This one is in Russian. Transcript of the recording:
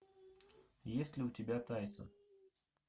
есть ли у тебя тайсон